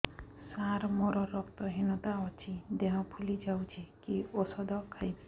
ସାର ମୋର ରକ୍ତ ହିନତା ଅଛି ଦେହ ଫୁଲି ଯାଉଛି କି ଓଷଦ ଖାଇବି